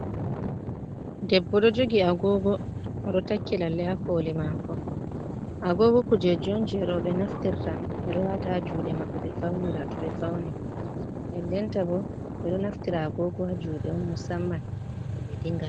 Debbo ɗo jogi agogo, oɗo takki lalle ha koli mako, agogo kujeji on je roɓe naftirta, ɓeɗo wata ha juɗe maɓɓe ɓe faunira to ɓe fauni, ndendenta bo ɓeɗo naftira agogo ha juɗe on musamman ngam ɓe dinga.